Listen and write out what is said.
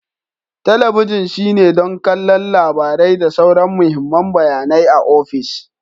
Talabijin shine don kallon labarai da sauran mahimman bayanai a ofis.